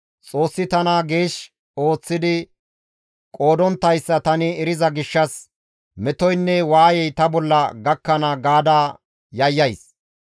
Xoossi tana geesh ooththidi qoodonttayssa tani eriza gishshas metoynne waayey ta bolla gakkana gaada yayyays.